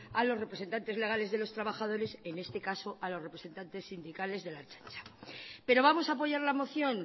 a los representantes legales de los trabajadores en este caso a los representantes sindicales de la ertzaintza pero vamos a apoyar la moción